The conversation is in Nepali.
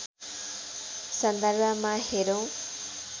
सन्दर्भमा हेरौँ